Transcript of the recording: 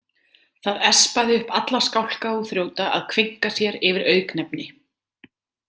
Það espaði upp alla skálka og þrjóta að kveinka sér yfir auknefni.